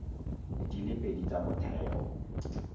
di le pedi tsa motheo